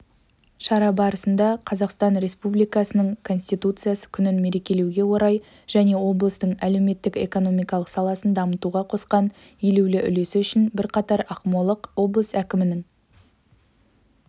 шара барысында қазақстан республикасының конституция күнін мерекелеуге орай және облыстың әлеуметтік-экономикалық саласын дамытуға қосқан елеулі үлесі үшін бірқатар ақмолық облыс әкімінің